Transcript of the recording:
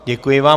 Děkuji vám.